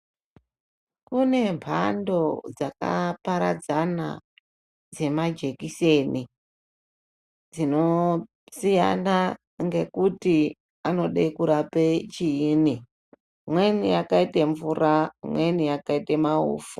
Kune mbando dzakaparadzana dzemajekiseni dzinosiyana ngekuti anode kurape chiini, imweni yakaite mvura, imweni yakaite maufu.